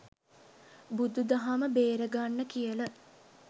බුදු දහම බේරගන්න කියල